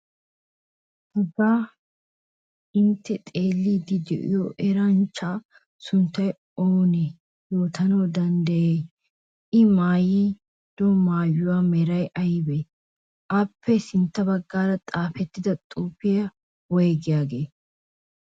Hagan intte xeelliiddi de'iyo eranchchaa sunttaa oonee yootanawu danddayiyay? I maayido maayuwa meray aybee? Appe sintta baggaara xaafettida xuufee woygiyagee?